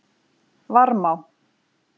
Varmá